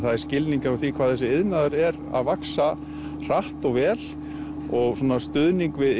er skilningur á því hvað þessi iðnaður er að vaxa hratt og vel og stuðning við